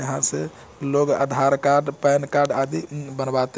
यहाँ से लोग आधार कार्ड पेन कार्ड आदि बनवाते --